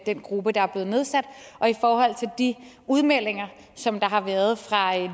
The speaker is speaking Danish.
gruppe der er blevet nedsat og i forhold til de udmeldinger som der har været fra